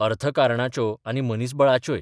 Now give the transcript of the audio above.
अर्थकारणाच्यो आनी मनीसबळाच्योय.